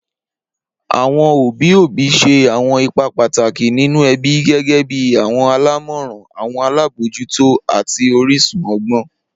Awọn obi obi ṣe awọn ipa pataki ninu ẹbi gẹgẹbi awọn alamọran, awọn alabojuto ati orisun ọgbọn.